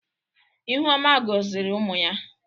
ihuoma gọziri ụmụ ya.